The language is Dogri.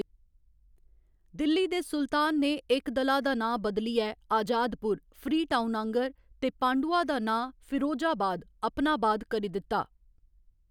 दिल्ली दे सुल्तान ने एकदला दा नांऽ बदलियै आजादपुर, फ्रीटाउन आह्ंगर, ते पांडुआ दा नांऽ फिरोजाबाद, अपना बाद, करी दित्ता।